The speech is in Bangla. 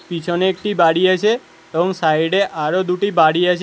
পিছনে একটি বাড়ি আছে এবং সাইড -এ আরও দুটি বাড়ি আছে।